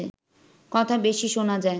কথা বেশি শোনা যায়